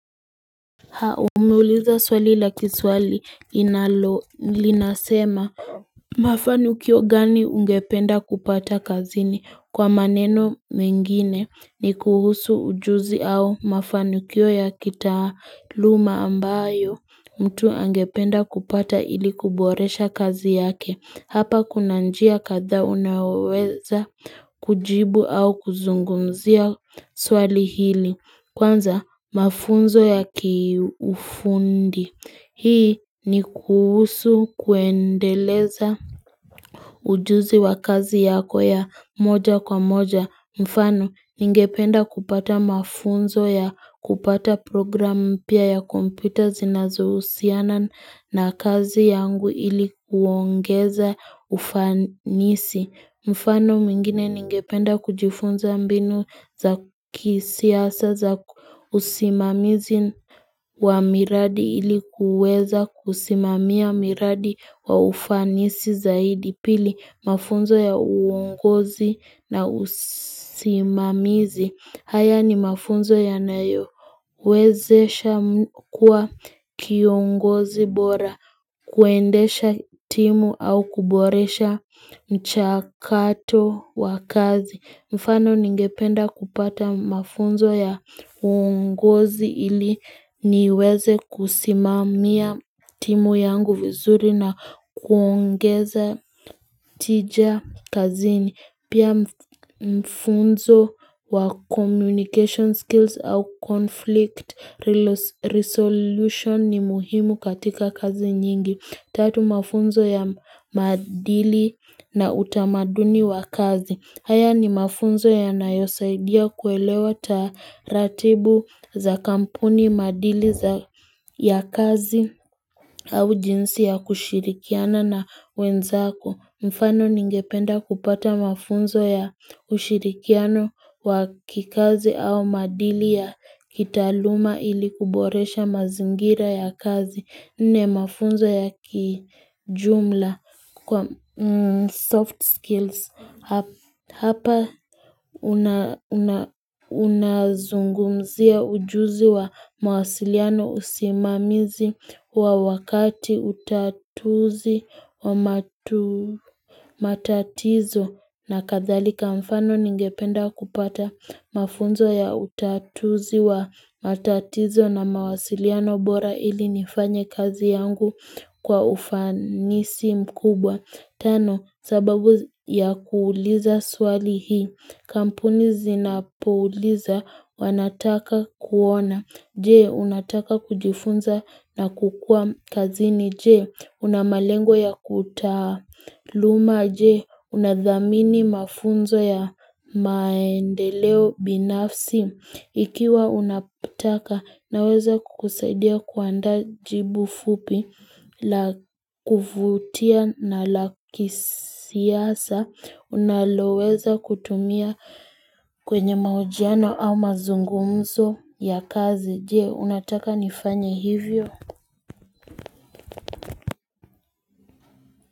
Umeuliza swali la kiswahili linasema Mafanukio gani ungependa kupata kazini kwa maneno mengine ni kuhusu ujuzi au mafanukio ya kitaaluma ambayo mtu angependa kupata ili kuboresha kazi yake Hapa kuna njia kadha unayoweza kujibu au kuzungumzia swali hili Kwanza, mafunzo ya kiufundi. Hii ni kuhusu kuendeleza ujuzi wa kazi yako ya moja kwa moja. Mfano, ningependa kupata mafunzo ya kupata program mpya ya kompyuta zinazo husiana na kazi yangu ili kuongeza ufanisi. Mfano mingine ningependa kujifunza mbinu za kisiasa za usimamizi wa miradi ili kuweza kusimamia miradi wa ufanisi zaidi pili mafunzo ya uongozi na usimamizi. Haya ni mafunzo yanayo. Wezesha kuwa kiongozi bora, kuendesha timu au kuboresha mchakato wa kazi. Mfano ningependa kupata mafunzo ya ungozi ili niweze kusimamia timu yangu vizuri na kuongeza tija kazini. Pia mfunzo wa communication skills au conflict resolution ni muhimu katika kazi nyingi. Tatu mafunzo ya maadili na utamaduni wa kazi. Haya ni mafunzo yanayosaidia kuelewa taratibu za kampuni madili ya kazi au jinsi ya kushirikiana na wenzako. Mfano ningependa kupata mafunzo ya ushirikiano wa kikazi au madili ya kitaaluma ili kuboresha mazingira ya kazi nne mafunzo ya kijumla kwa soft skills. Hapa unazungumzia ujuzi wa mawasiliano usimamizi wa wakati utatuzi wa matatizo na kadhalika mfano ningependa kupata mafunzo ya utatuzi wa matatizo na mawasiliano bora ili nifanye kazi yangu kwa ufanisi mkubwa. Tano, sababu ya kuuliza swali hii. Kampuni zinapouliza wanataka kuona. Je, unataka kujifunza na kukua kazini. Je, una malengo ya kutaaluma. Je, unadhamini mafunzo ya maendeleo binafsi. Ikiwa unataka naweza kukusaidia kuanda jibu fupi, la kuvutia na la kisiyasa, unaloweza kutumia kwenye mahojiano au mazungumzo ya kazi. Jee, unataka nifanya hivyo.